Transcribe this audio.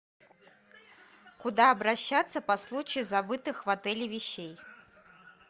куда обращаться по случаю забытых в отеле вещей